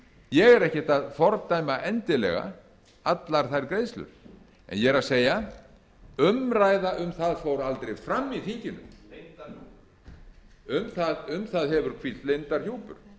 ég er ekkert að fordæma endilega allar þær greiðslur en ég er að segja umræða um það fór aldrei fram í þinginu um það hefur hvílt leyndarhjúpur